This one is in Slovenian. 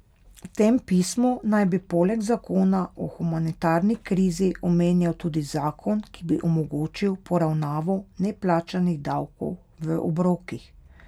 V tem pismu naj bi poleg zakona o humanitarni krizi omenjal tudi zakon, ki bi omogočil poravnavo neplačanih davkov v obrokih.